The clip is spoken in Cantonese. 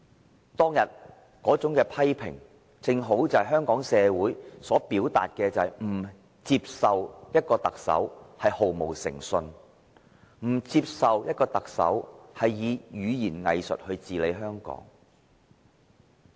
他當日那種批評，正正是香港社會要表達的，就是不接受特首毫無誠信，不接受特首以語言"偽術"來治理香港。